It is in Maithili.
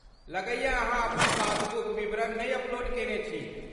लगैए अहाँ अपन पासबुक विवरण नै अपलोड केने छी।